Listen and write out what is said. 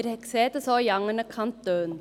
Wir sehen das auch in anderen Kantonen.